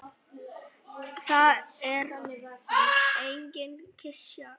Það er engin klisja.